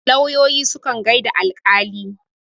lauyoyi sukan gaida alƙali